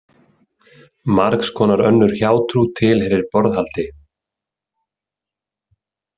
Margs konar önnur hjátrú tilheyrir borðhaldi.